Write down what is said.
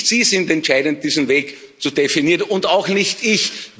Nicht Sie sind entscheidend, diesen Weg zu definieren, und auch nicht ich.